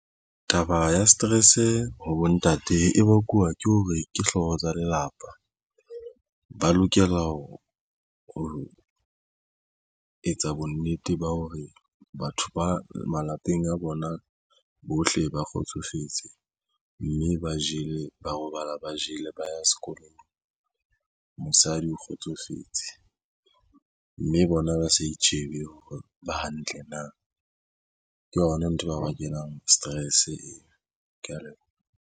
Taba ya stress ho bontate e bakuwa ke hore ke hlooho tsa lelapa ba lokela ho etsa bonnete ba hore batho ba malapeng a bona bohle ba kgotsofetse mme ba jele ba robala ba jele ba ya sekolong. Mosadi o kgotsofetse mme bona ba sa itjhebe hore ba hantle na ke yona nthwe bao ba kenang stress eo. Ke ya leboha.